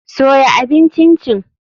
Soya abin Chin chin.